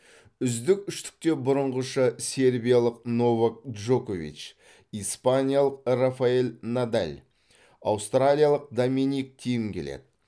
үздік үштікте бұрынғыша сербиялық новак джокович испаниялық рафаэль надаль аустриялық доминик тим келеді